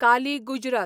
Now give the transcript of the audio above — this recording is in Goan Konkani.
काली गुजरात